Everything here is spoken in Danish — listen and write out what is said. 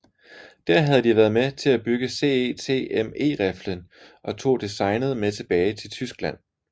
Der havde de været med til at bygge CETME riflen og tog designet med tilbage til Tyskland